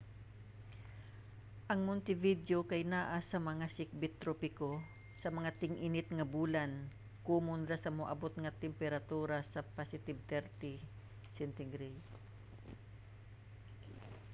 ang montevideo kay anaa sa mga sikbit-tropiko; sa mga ting-init nga bulan komon ra nga moabot ang temperatura sa +30°c